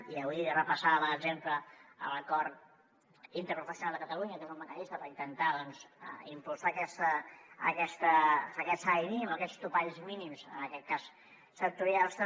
i avui repassava per exemple l’acord interprofessional de catalunya que és un mecanisme per intentar doncs impulsar aquest salari mínim o aquests topalls mínims en aquest cas sectorials també